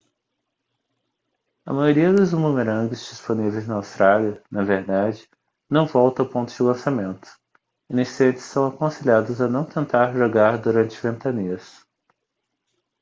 a maioria dos bumerangues disponíveis na austrália na verdade não volta ao ponto de lançamento iniciantes são aconselhados a não tentar jogar durante ventanias